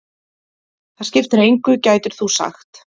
Það skiptir engu gætir þú sagt.